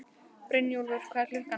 Brynjúlfur, hvað er klukkan?